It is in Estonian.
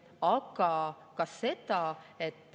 Jah.